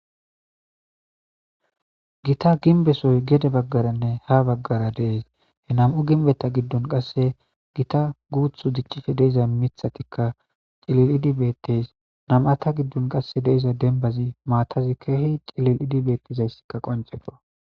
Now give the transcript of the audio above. Gita ginbesoy gede baggaranne ha baggara dees he nam'u ginbeta giddun qasse gita guuthu diccife deiza mithatikka cilil'idibettes nam'ata giddun qasse deiza denbazi maatazi keehi cilil'idibettizayssikka qonceqo.